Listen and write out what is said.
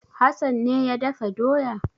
Hassan ne ya dafa doya?